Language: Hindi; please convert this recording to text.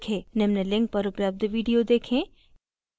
निम्न link पर उपलब्ध video देखें